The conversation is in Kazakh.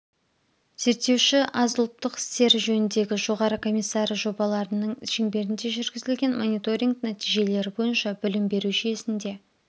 зерттеуші аз ұлттық істері жөніндегі жоғары комиссары жобаларының шеңберінде жүргізілген мониторинг нәтижелері бойынша білім беру жүйесінде